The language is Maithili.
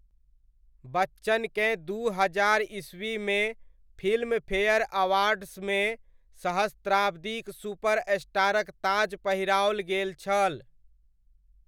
बच्चनकेँ दू हजार ई.मे फिल्मफेयर अवार्ड्समे सहस्राब्दीक सुपरस्टारक ताज पहिराओल गेल छल।